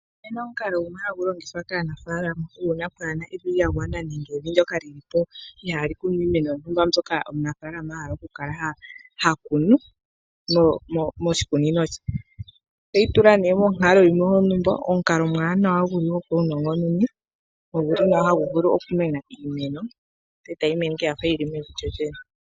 Opu na omukalo gumwe hagu longithwa kaanafaalama uuna kaapu na evi lya gwana nawa nenge evi ndyoka li li po ihaali kunwa iimeno yontumba mbyoka omunafaalama a hala okukala ha kunu moshikunino she. Otoyi tula nduno monkalo yimwe yontumba, omukalo omuwanawa gopaunongononi hagu vulu okumena iimeno e tayi mene owala ya fa yi li mevi lyolyene.